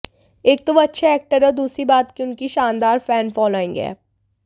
एक तो वो अच्छे एक्टर हैं और दूसरी बात की उनकी शानदार फैन फॉलोइंग है